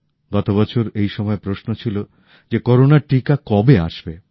গতবছর এই সময়ে প্রশ্ন ছিল যে করোনার টীকা কবে আসবে